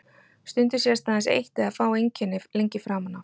Stundum sést aðeins eitt eða fá einkenni lengi framan af.